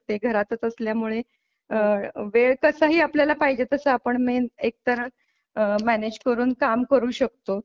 ते घरात असल्यामुळे अहं वेळ कसा ही आपल्याला पाहिजे तसा आपण मेन एक तर मॅनेज करून काम करू शकतो